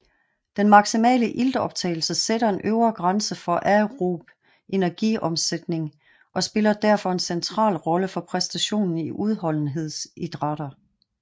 Den maksimale iltoptagelse sætter en øvre grænse for aerob energiomsætning og spiller derfor en central rolle for præstationen i udholdenhedsidrætter